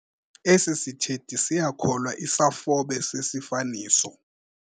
Esi sithethi siyakholwa isafobe sesifaniso.